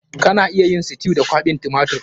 Kana iya yin stew da kwaɓin tumatir.